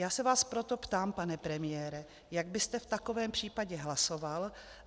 Já se vás proto ptám, pane premiére, jak byste v takovém případě hlasoval?